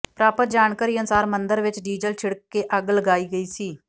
ਪ੍ਰਾਪਤ ਜਾਣਕਾਰੀ ਅਨੁਸਾਰ ਮੰਦਰ ਵਿੱਚ ਡੀਜ਼ਲ ਛਿੜਕ ਕੇ ਅੱਗ ਲਗਾਈ ਗਈ ਸੀ